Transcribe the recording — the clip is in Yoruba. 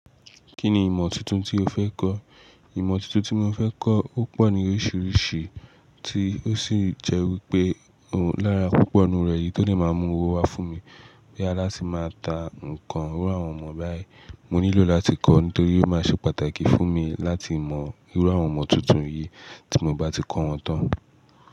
Kí ni ìmọ̀ tuntun tí o fẹ́ kọ́? Ìmọ̀ tuntun tí mo fẹ́ kọ́ ó pọ̀ ní oríṣiríṣi tí ó sì jẹ́ wípé lára púpọ̀ inú rẹ̀, èyí tó dẹ̀ máa mú owó wá fún mi. Bóyá láti máa ta nǹkan irú àwọn ìmọ̀ báyìí. Mo nílò láti kọ́, nítorí ó máa ṣe pàtàkì fún mi láti mọ irú àwọn ìmọ̀ tuntun yìí tí mo bá ti kọ́ wọn tán.